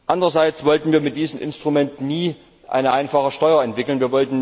Andererseits wollten wir mit diesem Instrument nie eine einfache Steuer entwickeln.